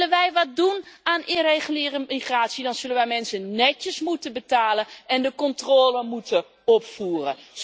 Willen wij wat doen aan irreguliere migratie, dan zullen wij mensen netjes moeten betalen en de controle moeten opvoeren.